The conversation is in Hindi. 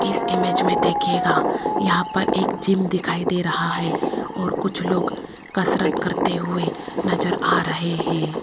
इस इमेज में देखिएगा यहाँ पर एक जिम दिखाई दे रहा हैं और कुछ लोग कसरत करते हुए नजर आ रहे हैं।